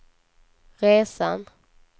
resan